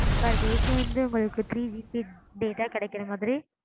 per day க்கு வந்து உங்களுக்கு threeGBdata கிடைக்குற மாதிரி.